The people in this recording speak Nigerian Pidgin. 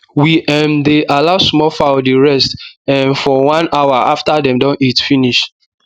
we um dey allow small fowl dey rest um for one hour after dem don eat finish